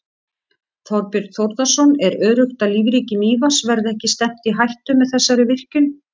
Þorbjörn Þórðarson: Er öruggt að lífríki Mývatns verði ekki stefnt í hættu með þessari virkjun?